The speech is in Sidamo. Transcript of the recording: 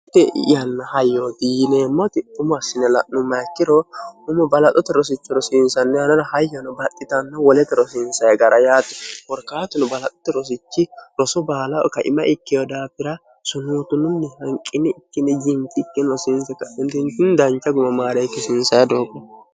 hte i'yanna hayyooti yineemmotiphumo assine la'nu mayikkiro umu balaxote rosichi rosiinsanni anora hayyano baxxitanno wolete rosiinsahegara yaate borkaatinu balaxote rosichi rosu baalao kaima ikkeo daafira sunuutununni hanqini ikkine jiintikki rosiinse khintinkin dancha gumamaareikkisiinsae doogo